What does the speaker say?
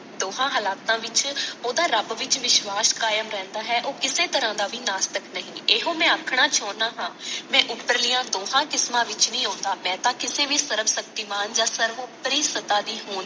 ਦੋਹਾਂ ਹਾਲਾਤਾਂ ਵਿਚ ਓਹਦਾ ਰੱਬ ਵਿਚ ਵਿਸ਼ਵਾਸ ਕਾਇਮ ਰਹਿੰਦਾ ਹੈ ਉਹ ਕਿਸੇ ਤਰਾਂ ਦਾ ਵੀ ਨਾਸਤਿਕ ਨਹੀਂ। ਇਹੋ ਮੈਂ ਆਖਣਾ ਚਾਹੁੰਦਾ ਹਾਂ ਮੈਂ ਉੱਪਰਲੀਆਂ ਦੋਹਾਂ ਕਿਸਮਾਂ ਵਿਚ ਨਹੀ ਆਉਂਦਾ। ਮੈਂ ਤਾਂ ਕਿਸੇ ਵੀ ਸਰਵਸ਼ਕਤੀਮਾਨ ਜਾਂ ਸਰਵੋਪਰੀ ਸਤਾ ਦੀ ਹੋਂਦ